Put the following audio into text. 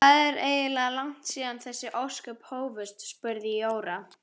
Hvað er eiginlega langt síðan þessi ósköp hófust? spurði Jóra.